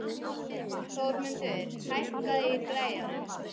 Þormundur, hækkaðu í græjunum.